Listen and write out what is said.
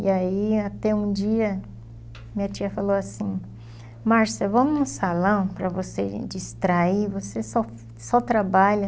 E aí, até um dia, minha tia falou assim, Marcia, vamos num salão para você distrair, você só só trabalha.